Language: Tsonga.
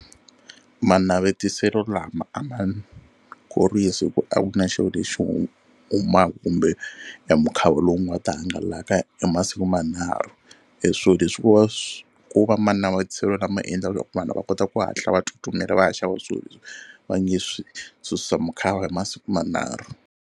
Manavetiselo lama a ma khorhwisi hi ku a ku na xilo lexi humaka kumbe e mukhava lowu nga ta hangalaka hi masiku manharhu. E swilo leswi ko va swi ko va manavetiselo lama endlaka swa ku vanhu va kota ku hatla va tsutsumela va ya xava swilo leswi va nge swi susa mukhava hi masiku manharhu.